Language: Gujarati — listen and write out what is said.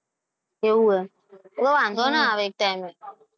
એવું હે તો વાંધો ના આવે એક time.